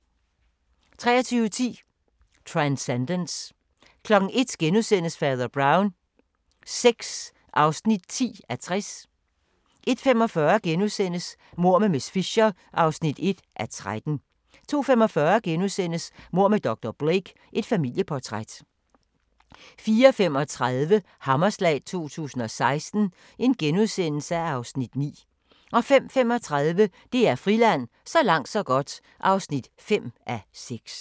23:10: Transcendence 01:00: Fader Brown VI (10:60)* 01:45: Mord med miss Fisher (1:13)* 02:45: Mord med dr. Blake: Et familieportræt * 04:35: Hammerslag 2016 (Afs. 9)* 05:35: DR Friland: Så langt så godt (5:6)